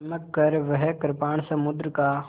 चमककर वह कृपाण समुद्र का